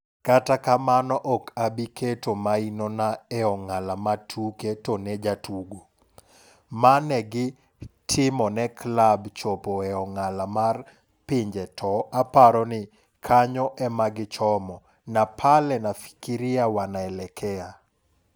"Kata kamano ok abi keto maino na e ong'ala ma tuke to ne jatugo, mane gi timone klab chopo e ong'ala mar pinjeto aparo ni kanyo emagi chomo. na pale nafikiria wanaelekea.